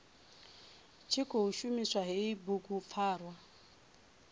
tshi khou shumisa hei bugupfarwa